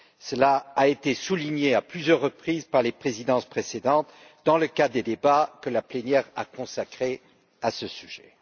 Cela a été souligné à plusieurs reprises par les présidences précédentes, dans le cadre des débats que la plénière a consacrés à ce sujet.